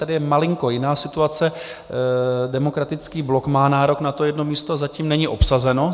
Tady je malinko jiná situace, Demokratický blok má nárok na to jedno místo, zatím není obsazeno.